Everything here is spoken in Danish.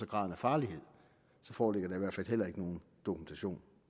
graden af farlighed så foreligger der i hvert fald heller ikke nogen dokumentation